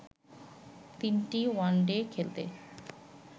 তিনটি ওয়ানডে খেলতে